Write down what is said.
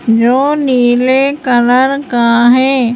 जो नीले कलर का है।